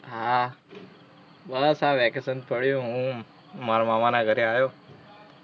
હાં, બસ આ વેકેશન પડ્યું, હું મારા મામાના ઘરે આયો.